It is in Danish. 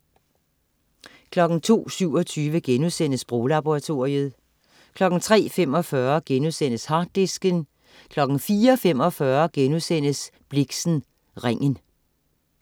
02.27 Sproglaboratoriet* 03.45 Harddisken* 04.45 Blixen: Ringen*